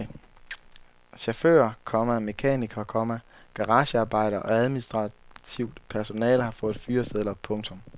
Chauffører, komma mekanikere, komma garagearbejdere og administrativt personale har fået fyresedler. punktum